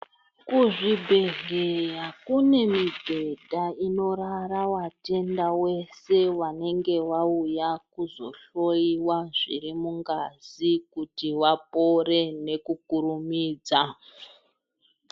Kuzvibhedhlera kune mubhedha unorara vatenda veshe vanenge vauya kunohloyiwa zviri mungazi kuti vapore nekukurumidza.